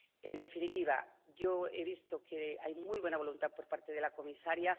En definitiva, yo he visto que hay muy buena voluntad por parte de la comisaria.